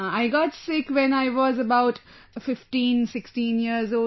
I got sick when I was about 1516 years old